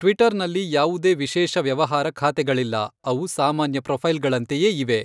ಟ್ವಿಟರ್ನಲ್ಲಿ ಯಾವುದೇ ವಿಶೇಷ ವ್ಯವಹಾರ ಖಾತೆಗಳಿಲ್ಲ. ಅವು ಸಾಮಾನ್ಯ ಪ್ರೊಫೈಲ್ಗಳಂತೆಯೇ ಇವೆ.